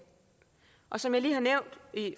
og som jeg lige har nævnt